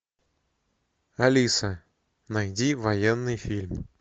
алиса найди военный фильм